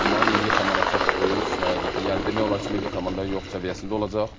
Amma milli komanda çox böyük həqiqətən, yəni demək olar ki, milli komanda yox səviyyəsində olacaq.